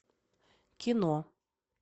кино